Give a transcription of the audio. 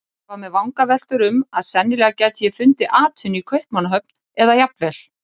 Ég var með vangaveltur um að sennilega gæti ég fundið atvinnu í Kaupmannahöfn eða jafnvel